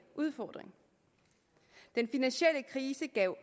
udfordring den finansielle krise gav